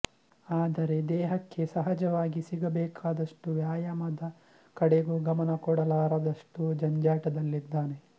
ಆದರೆ ದೇಹಕ್ಕೆ ಸಹಜವಾಗಿ ಸಿಗಬೇಕಾದಷ್ಟು ವ್ಯಾಯಾಮದ ಕಡೆಗೂ ಗಮನ ಕೊಡಲಾರದಷ್ಟು ಜಂಜಾಟದಲ್ಲಿದ್ದಾನೆ